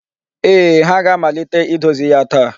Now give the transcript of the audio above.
Ee, ha ga-amalite idozi ya taa.